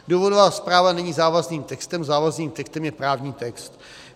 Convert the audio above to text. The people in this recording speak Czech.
Důvodová zpráva není závazným textem, závazným textem je právní text.